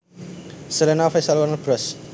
Selena Official Warner Bros